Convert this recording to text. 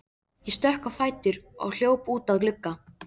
Ég stökk á fætur og hljóp út að glugga.